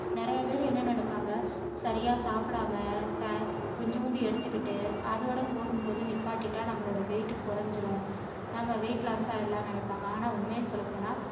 நிறைய பேரு என்ன நினைப்பாங்க சரியா சாப்பிடாம டை~கொஞ்சமா எடுத்திக்கிட்டு அதோட போதும் போதும் நிப்பாட்டிட்டா நம்மளோட wait குறைஞ்சிடும் நாம wait loss ஆகிடலாம்னு நினைப்பாங்க ஆனா உண்மைய சொல்லப்போனா